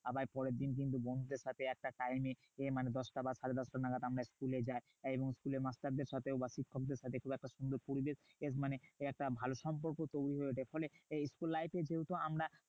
আবার পরেরদিন কিন্তু বন্ধুদের সাথে একটা time এ মানে দশটা বা সাড়ে দশটা নাগাদ আমরা school এ যাই। এবং school এর মাস্টারদের সাথেও বাকি সবদের সাথেও এত সুন্দর পরিবেশ মানে একটা ভালো সম্পর্ক তৈরী হয়ে যায়। ফলে school life এই যেহেতু আমরা